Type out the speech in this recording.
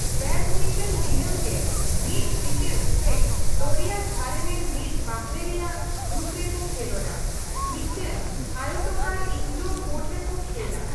Badminton ᱫᱤᱱᱟᱹᱢ ᱜᱮ ᱢᱤᱫ ᱯᱤᱸᱰᱟᱹ ᱥᱮ ᱫᱚᱨᱭᱟ ᱫᱷᱟᱨᱮ ᱨᱮ ᱢᱤᱫ ᱵᱟᱦᱨᱮ ᱨᱮᱭᱟᱜ ᱨᱩᱯ ᱨᱮᱠᱚ ᱠᱷᱮᱞᱚᱸᱰᱟ, ᱢᱤᱫ ᱴᱟᱝ ᱟᱭᱚᱛᱚᱠᱟᱨ ᱤᱱᱰᱚᱨ ᱠᱚᱨᱴ ᱨᱮᱠᱚ ᱠᱷᱮᱞᱟ ᱾